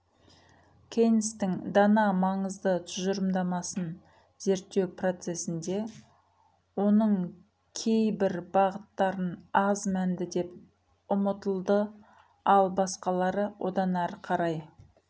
кейнстің дана маңызды тұжырымдамасын зерттеу процессінде оның кей бір бағыттарын аз мәнді деп ұмытылды ал басқалары одан әріқарай